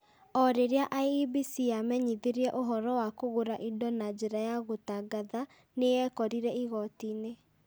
O rĩrĩa IEBC yamenyithirie ũhoro wa kũgũra indo na njĩra ya gũtangatha, nĩ yekorire igooti-inĩ.